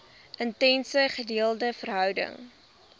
intense gedeelde verhouding